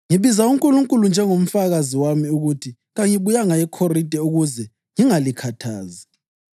Ngibiza uNkulunkulu njengomfakazi wami ukuthi kangibuyanga eKhorinte ukuze ngingalikhathazi.